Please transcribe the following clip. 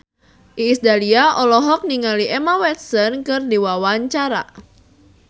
Iis Dahlia olohok ningali Emma Watson keur diwawancara